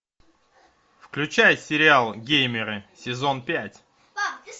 включай сериал геймеры сезон пять